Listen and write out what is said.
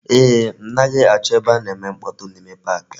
Eeh, m naghi acho ebe a na-eme mkpotu n'ime pak ahu.